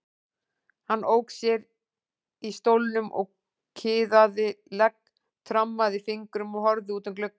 Hann ók sér í stólnum og kiðaði legg, trommaði fingrum og horfði út um gluggann.